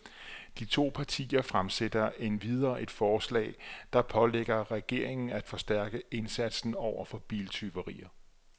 De to partier fremsætter endvidere et forslag, der pålægger regeringen af forstærke indsatsen over for biltyverier.